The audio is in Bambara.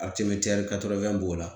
b'o la